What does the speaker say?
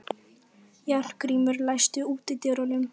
Járngrímur, læstu útidyrunum.